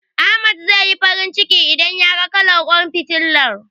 Ahmad zai yi farin ciki, idan yaga kalar ƙwan fitilar.